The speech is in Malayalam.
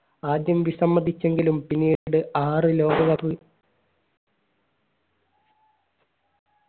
ആദ്യം വിസമ്മതിച്ചെങ്കിലും പിന്നീട് ആറ് ലോക cup